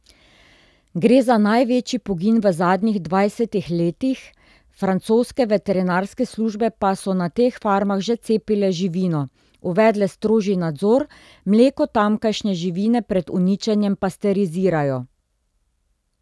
Gre za največji pogin v zadnjih dvajsetih letih, francoske veterinarske službe pa so na teh farmah že cepile živino, uvedle strožji nadzor, mleko tamkajšnje živine pred uničenjem pasterizirajo.